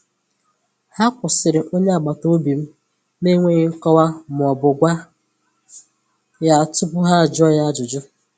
Ha kwụsịrị onye agbata obi m n’enweghị nkọwa ma ọ bụ gwa ya tupu ha jụọ ya ajụjụ.